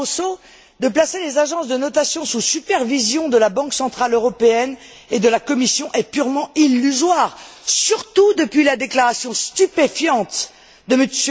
Barroso de placer les agences de notation sous supervision de la Banque centrale européenne et de la Commission est purement illusoire, surtout depuis la déclaration stupéfiante de M.